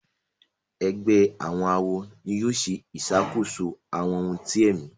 Ègbé àwọn àwo ní yóò ṣe ìṣàkóso àwọn òun tí èmi